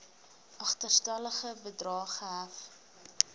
agterstallige bedrae gehef